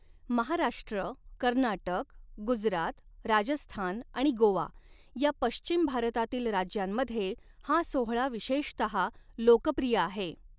महाराष्ट्र, कर्नाटक, गुजरात, राजस्थान आणि गोवा या पश्चिम भारतातील राज्यांमध्ये हा सोहळा विशेषतः लोकप्रिय आहे.